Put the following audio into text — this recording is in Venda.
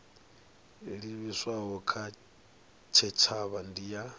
livhiswaho kha tshitshavha ndi ya